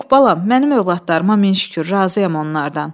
Yox, balam, mənim övladlarıma min şükür, razıyam onlardan.